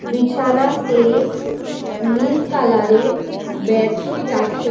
বিছানাতে নীল কালারের বেডশিট আছে।